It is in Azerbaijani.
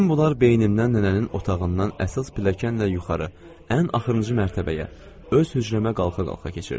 Bütün bunlar beynimdən nənənin otağından əsas pilləkanla yuxarı, ən axırıncı mərtəbəyə, öz hücrəmə qalxa-qalxa keçirdi.